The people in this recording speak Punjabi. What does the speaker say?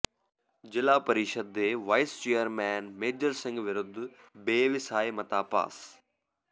ਜ਼ਿਲ੍ਹਾ ਪ੍ਰੀਸ਼ਦ ਦੇ ਵਾਈਸ ਚੇਅਰਮੈਨ ਮੇਜਰ ਸਿੰਘ ਵਿਰੁੱਧ ਬੇਵਿਸਾਹੀ ਮਤਾ ਪਾਸ